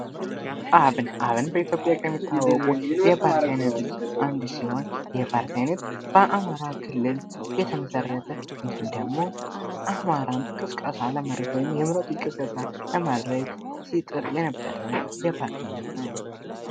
አብን:- አብን በኢትዮጵያ ዉስጥ ከሚታወቁት የፓርቲ አይነት አንዱ ሲሆን ይህ የፓርቲ አይነት በአማራ ክልል የተመሰረተ እንዲሁም ደግሞ አማራን ቅስቀሳ ለማድረግ ወይም የምረጡኝ ቅስቀሳ ለማድረግ ሲጥር የነበረ የፓርቲ አይነት ነዉ።